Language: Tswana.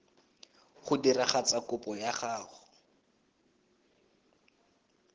go diragatsa kopo ya gago